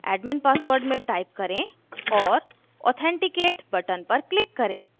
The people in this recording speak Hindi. admin password में type करें और authenticate button पर click करें